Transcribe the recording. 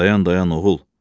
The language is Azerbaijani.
Dayan, dayan, oğul.